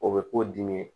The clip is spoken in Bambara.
O bɛ k'o dimi